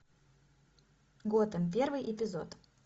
готэм первый эпизод